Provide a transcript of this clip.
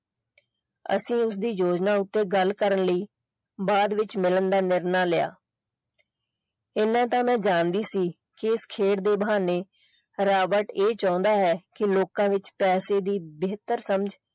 ਅਸੀਂ ਉਸਦੀ ਯੋਜਨਾ ਉੱਤੋਂ ਗੱਲ ਕਰਨ ਲਈ ਬਾਅਦ ਵਿੱਚ ਮਿਲਣ ਦਾ ਨਿਰਣਾ ਲਿਆ ਇੰਨਾ ਤਾਂ ਮੈਂ ਜਾਣਦੀ ਸੀ ਕਿ ਉਹ ਖੇਡ ਦੇ ਬਹਾਨੇ ਰਾਬਰਟ ਇਹ ਚਾਹੁੰਦਾ ਹੈ ਕਿ ਲਕਾਂ ਵਿੱਚ ਪੈਸੇ ਦੀ ਬੇਹਤਰ